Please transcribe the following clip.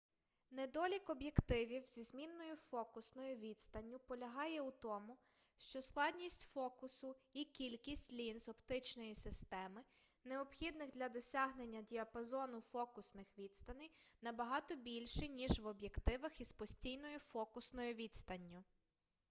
недолік об'єктивів зі змінною фокусною відстанню полягає у тому що складність фокусу і кількість лінз оптичної системи необхідних для досягнення діапазону фокусних відстаней набагато більші ніж в об'єктивах із постійною фокусною відстанню